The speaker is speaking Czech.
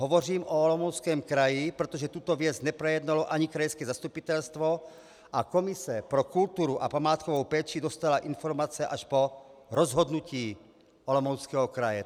Hovořím o Olomouckém kraji, protože tuto věc neprojednalo ani krajské zastupitelstvo a komise pro kulturu a památkovou péči dostala informace až po rozhodnutí Olomouckého kraje.